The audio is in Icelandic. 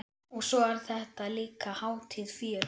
Og svo er þetta líka hátíð fjöl